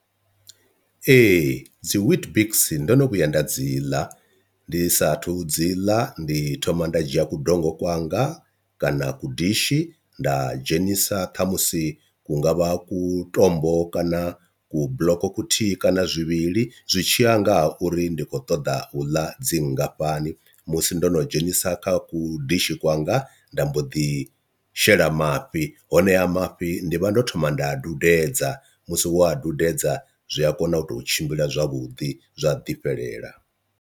Ee dzi weetbix ndo no vhuya nda dzi ḽa ndi sathu dzi ḽa ndi thoma nda dzhia kudongo kwanga kana ku dishi nda dzhenisa ṱhamusi hungavha ku tombo kana ku bḽoko kuthihi kana zwivhili, zwi tshiya ngaha uri ndi khou ṱoḓa u ḽa dzi nngafhani musi ndo no dzhenisa kha ku dishi kwanga nda mbo ḓi shela mafhi, honeha mafhi ndi vha ndo thoma nda dudedza musi wo a dudedza zwi a kona u tou tshimbila zwavhudi zwa ḓi fhelela.